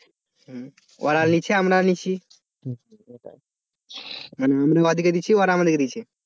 ওরাও লিছে, আমরাও লিছি মানে আমরা ওদেরকে দিচ্ছি আর ওরা আমাদের দিচ্ছে।